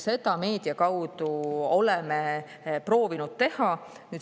Seda me meedia kaudu oleme proovinud teha.